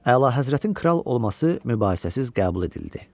Əlahəzrətin kral olması mübahisəsiz qəbul edildi.